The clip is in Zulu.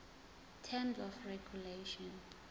terms of regulation